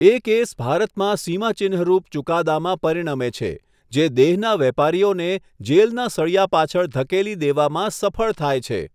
એ case ભારતમાં સીમાચિહ્નરૂપ ચુકાદામાં પરિણમે છે, જે દેહના વેપારીઓને જેલના સળિયા પાછળ ધકેલી દેવામાં સફળ થાય છે.